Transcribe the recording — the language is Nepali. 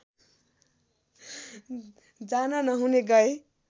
जान नहुने गए